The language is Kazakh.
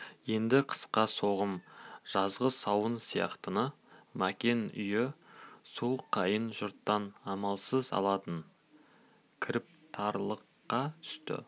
енді қысқы соғым жазғы сауын сияқтыны мәкен үйі сол қайын жұрттан амалсыз алатын кіріптарлыққа түсті